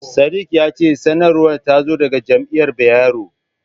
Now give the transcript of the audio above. Sadik ya ce sanarwar ta zo daga jami'ar Bayero.